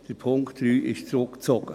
Der Punkt 3 ist zurückgezogen.